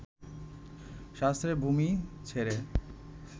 শাস্ত্রের ভূমি ছেড়ে